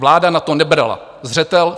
Vláda na to nebrala zřetel.